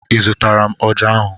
Ị zụtara m ọjà ahụ?